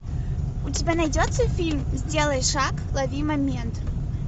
у тебя найдется фильм сделай шаг лови момент